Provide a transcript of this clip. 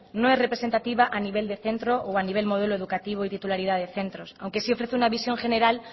no es representativa a nivel de centro o a nivel de modelo educativo y titularidad de centro aunque sí ofrece una visión general